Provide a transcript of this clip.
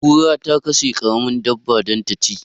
Kura ta kashe karamar dabba dan ta ci